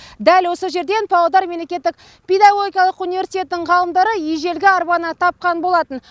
дәл осы жерден павлодар мемлекеттік педагогикалық университетінің ғалымдары ежелгі арбаны тапқан болатын